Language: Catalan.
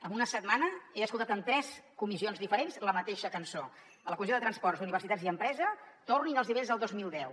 en una setmana he escoltat en tres comissions diferents la mateixa cançó a la comissió de transports d’universitats i empresa tornin als nivells del dos mil deu